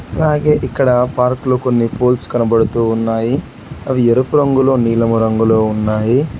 అలాగే ఇక్కడ పార్కు లో కొన్ని పోల్స్ కనబడుతూ ఉన్నాయి అవి ఎరుపు రంగులో నీలము రంగులో ఉన్నాయి.